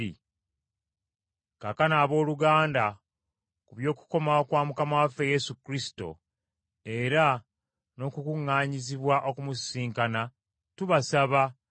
Kaakano abooluganda, ku by’okukomawo kwa Mukama waffe Yesu Kristo, era n’okukuŋŋaanyizibwa okumusisinkana, tubasaba